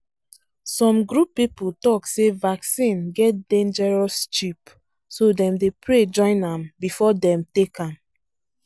some group people talk say vaccine get dangerous chip so dem dey pray join am before dem take am